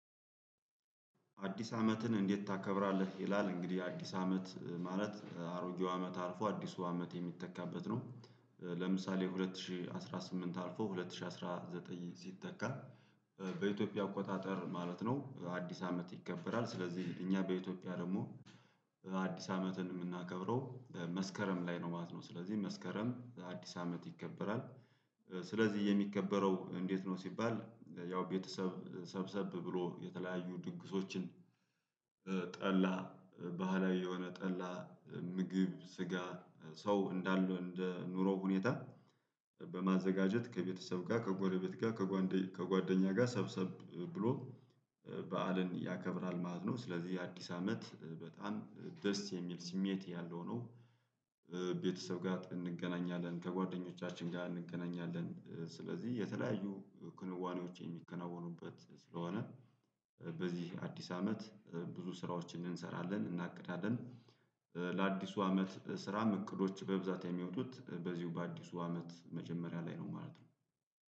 አዲስ አመትን እንዴት ታከብራለህ? ይላል እንግዲህ አዲስ አመት ማለት አሮጌው አመት አርፎ አዲሱ አመት የሚተካበት ነው። ለምሳሌ ሁለት ሺህ አስራ ስምንት አልፎ ሁለት ሺህ አስራ ዘጠኝ ሲተካ። በኢትዮጵያ አቆጣጠር ማለት ነው አዲስ አመት ይከበራል። ስለዚህ እኛ በኢትዮጵያ ደግሞ አዲስ አመትን የምናከብረው መስከረም ላይ ነው ማለት ነው። ስለዚህ መስከረም አዲስ አመት ይከበራል። ስለዚህ የሚከበረው እንዴት ነው? ሲባል ያው ቤተሰብ ሰብሰብ ብሎ የተለያዩ ድግሶችን። ጠላ ባህላዊ የሆነ ጠላ ምግብ ስጋ ሰው እንዳለው እንደ ኑሮ ሁኔታ። በማዘጋጀት ከቤተሰብ ጋር ከጎረቤት ጋር ከጓደኛ ጋር ሰብሰብ ብሎ በዓልን ያከብራል ማለት ነው። ስለዚህ የአዲስ አመት በጣም ደስ የሚል ስሜት ያለው ነው። ቤተሰብ ጋር እንገናኛለን ከጓደኞቻችን ጋር እንገናኛለን። ስለዚህ የተለያዩ ክንዋኔዎች የሚከናወኑበት ስለሆነ። በዚህ አዲስ አመት ብዙ ስራዎችን እንሰራለን እናቅዳለን። ለአዲሱ አመት ስራም እቅዶች በብዛት የሚወጡት በዚሁ በአዲሱ አመት መጀመሪያ ላይ ነው ማለት ነው።